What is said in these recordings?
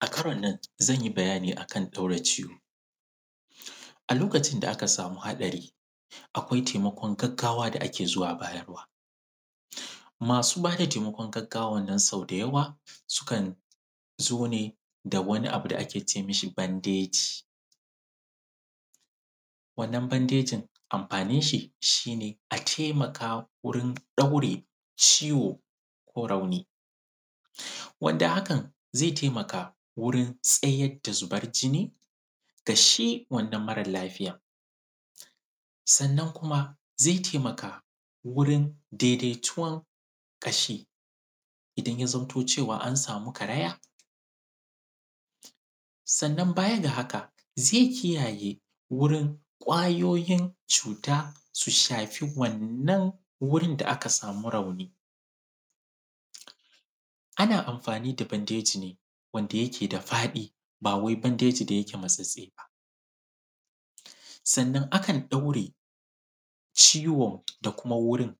A karon nan, zan yi bayani a kan ɗaura ciwo. A lokacin da aka samu haɗari, akwai temakon gaggawa da ake zuwa bayarwa. Masu ba da temakon gaggawan nan sau da yawa, sukan zo ne da wani abu da ake ce mishi bandeji. Wannan bandejin, amfanin shi, shi ne a temaka wurin ɗaure ciwo ko rauni, wanda hakan ze temaka wurin tsaya da zubar jinni ga shi wannan maral lafiyan. Sannan kuma. Zai temaka wurin dedetuwan ƙashi, idan ya zanto cewa an samu karaya, sannan baya ga haka, ze kiyaye gurin ƙwayoyin cuta su shaki wannan wurin da aka samu rauni. Ana amfani da bandeji ne, wanda yake da faɗi ba wai bandeji da yake matsatstse ba. Sannan, akan ɗaure ciwon da kuma wurin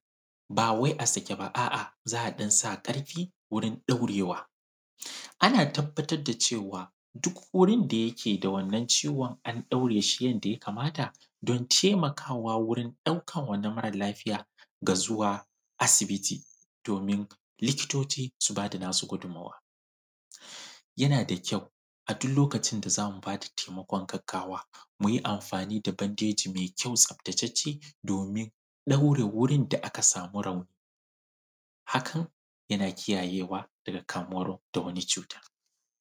ba wai a sake ba, a’a, za a ɗan sa ƙarfi wurin ɗaurewa. Ana tabbatad da cewa, duk wurin da yake da wannan ciwon, an ɗaure shi yanda ya kamata don temakawa wurin ɗaukan wannan maral lafiya ga zuwa asibiti domin likitoci su ba da nasu gudummawa. Yana da kyau, a dul lokacin da za mu ba da temakon gaggawa, mu yi amfani da bandeji me kyau tsaftatacce domin ɗaure wurin da aka samu rauni, hakan yana kiyayewa daga kamuwar da wani cuta.